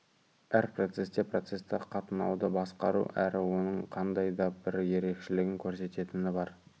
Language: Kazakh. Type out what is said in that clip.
әр процесте процесті қатынауды басқару әрі оның қандай да бір ерекшелігін көрсететіні бар